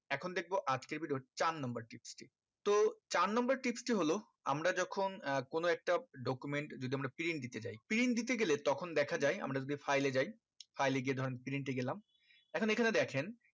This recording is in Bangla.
এখন দেখবো আজকের video র চার number tips টি তো চার number tips টি হলো আমরা যখন আহ কোনো একটা document যদি আমরা print দিতে যাই print দিতে গেলে তখন দেখা যাই আমরা যদি file এ যাই file এ গিয়ে ধরেন print এ গেলাম এখন এই খানে দেখেন